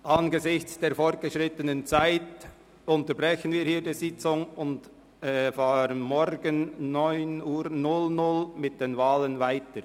Angesichts der fortgeschrittenen Zeit unterbrechen wir die Sitzung hier und fahren morgen um 9.00 Uhr mit den Wahlen weiter.